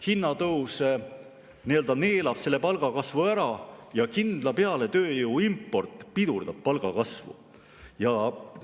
Hinnatõus neelab palgakasvu ära ja kindla peale pidurdab palgakasvu tööjõu import.